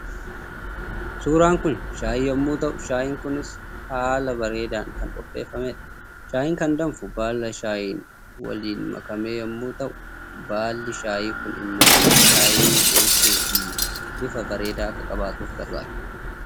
Suuraan kun Shaayii yommuu ta'u Shaayiin kunis haala bareedaan kan qopheeffamedha. Shaayiin kan danfu baala Shaayiin waliin makamee yommuu ta'u baalli Shaayii kun immoo Shaayii mi'eessuu fi bifa bareedaa akka qabaatuuf gargaara.